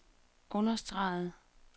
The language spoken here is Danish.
understregede